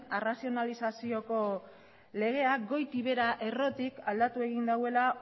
arrazionalizazioko legea goitik behera errotik aldatu egin duela